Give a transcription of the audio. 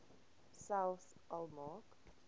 selfs al maak